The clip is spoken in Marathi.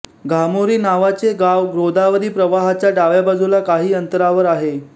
घामोरी नावाचे गाव गोदावरी प्रवाहाच्या डाव्या बाजूला काही अंतरावर आहे